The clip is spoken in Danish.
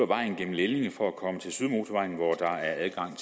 vejen gennem lellinge for at komme til sydmotorvejen hvor der er adgang